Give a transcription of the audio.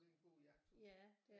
Det er en god jagthund